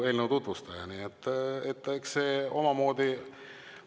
– eelnõu.